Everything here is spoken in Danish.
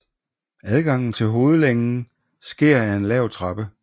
Adgangen til hovedlængen sker ad en lav trappe